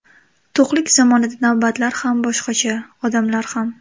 To‘qlik zamonida navbatlar ham boshqacha, odamlar ham.